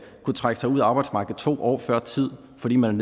kunne trække sig ud af arbejdsmarkedet to år før tid fordi man